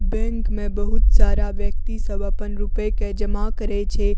Bank में बहुत सारा व्यक्ति सब अपन रूपए के जामा करे छै।